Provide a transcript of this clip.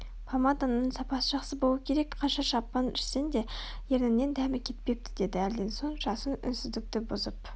помадаңның сапасы жақсы болуы керек Қанша шампан ішсең де ерніңнен дәмі кетпепті деді әлден соң жасын үнсіздікті бұзып